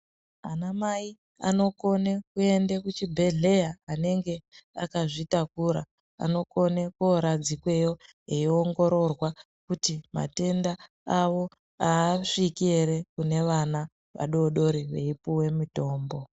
Ana mai anokone kuende kuchibhedhleya anenge akazvitakura anokone koradzikweyo eiongororwa kuti matenda awo aasviki ere kune vana vadodori veipuwe mutombo.